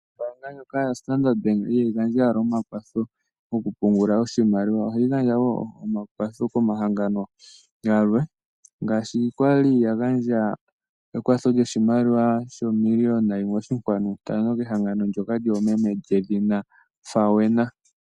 Ombaanga ndjoka ya standard bank ihayi gandja owala omakwatho moku pungula oshimaliwa. Ohayi gandja wo omakwatho koomahangano galwe ngaashi kwali ya gandja ekwatho lyoshimaliwa sho miliona yimwe oshinkwanu ntano kehangano ndyoka lyoomeme lyedhina Fawena.